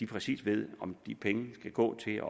præcis ved om de penge skal gå til